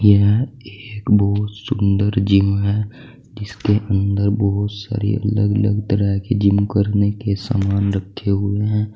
यह एक बहुत सुंदर जिम है जिसके अंदर बहुत सारे अलग अलग तरह के जिम करने के सामन रखे हुए हैं।